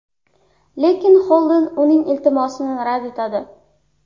Lekin Xolden uning iltimosini rad etadi.